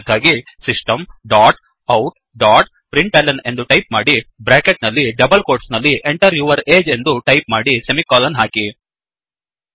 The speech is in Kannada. ಅದಕ್ಕಾಗಿ system dot out dot println ಎಂದು ಟೈಪ್ ಮಾಡಿ ಬ್ರ್ಯಾಕೆಟ್ ನಲ್ಲಿ ಡಬಲ್ ಕೋಟ್ಸ್ ನಲ್ಲಿ Enter ಯೂರ್ ಅಗೆ ಎಂದು ಟೈಪ್ ಮಾಡಿ ಸೆಮಿಕೋಲನ್ ಹಾಕಿ